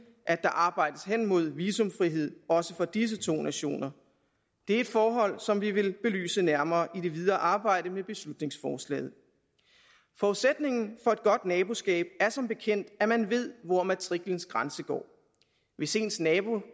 at der arbejdes hen mod visumfrihed også for disse to nationer det er et forhold som vi vil belyse nærmere i det videre arbejde med beslutningsforslaget forudsætningen for et godt naboskab er som bekendt at man ved hvor matriklens grænse går hvis ens nabo